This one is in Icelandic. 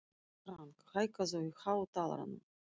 Frank, hækkaðu í hátalaranum.